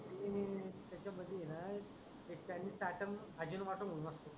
हम्म त्याच्यापाशी हे हाय ते चायनिश च्याट मणून भाजी न वाटून